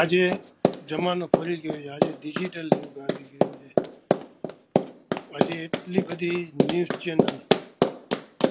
આજે જમાનો ફરી ગયો છે ડિજિટલ યુગ આવી ગયો છે, આજે આટલી બધી ન્યુસ ચેનલ